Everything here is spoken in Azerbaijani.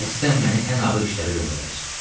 Qəsdən məni ən ağır işlərə göndərir.